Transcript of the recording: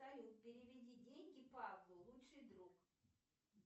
салют переведи деньги павлу лучший друг